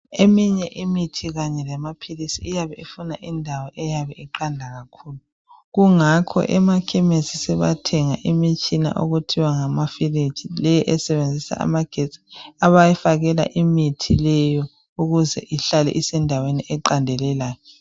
Eminye imithi kanye lamaphilisi iyabe ufuna indawo eyabe iqanda kakhulu. Kungakho emakhemesi sebathenga imitshina okuthiwa ngamafiriji le esebenzisa amagetsi, abayifakela imithi leyo ukuze ihlale isendaweni eqandelelayo.